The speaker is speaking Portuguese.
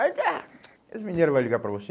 Aí ele ah, as mineira vai ligar para você?